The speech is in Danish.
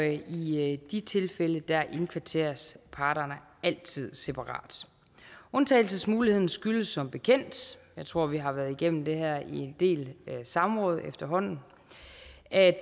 i de tilfælde indkvarteres parterne altid separat undtagelsesmuligheden skyldes som bekendt jeg tror vi har været igennem det her i en del samråd efterhånden at